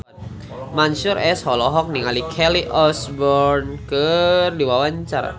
Mansyur S olohok ningali Kelly Osbourne keur diwawancara